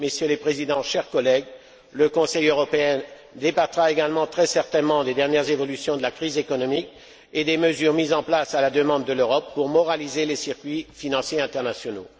Messieurs les Présidents, chers collègues, le Conseil européen débattra également très certainement des dernières évolutions de la crise économique et des mesures mises en place à la demande de l'Europe pour moraliser les circuits financiers internationaux.